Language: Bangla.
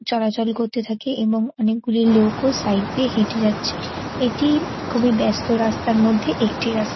চলাচল করতে থাকে এবং অনেকগুলি লোকও দিয়ে হেটে যাচ্ছে এটি-ই খুবিই বাস্ত রাস্তার মধ্যে একটি রাস--